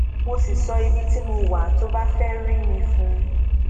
mo sì sọ ibi tí mo wà tó bá fẹẹ rí mi fún un